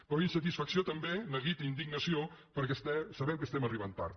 però insatisfacció també neguit i indignació perquè sabem que estem arribant tard